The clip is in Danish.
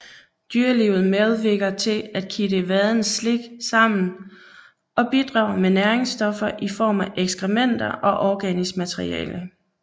Dyrelivet medvirker til at kitte vadens slik sammen og bidrager med næringsstoffer i form af ekskrementer og organisk materiale